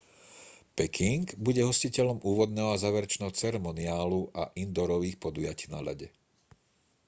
peking bude hostiteľom úvodného a záverečného ceremoniálu a indoorových podujatí na ľade